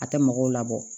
A tɛ mɔgɔw labɔ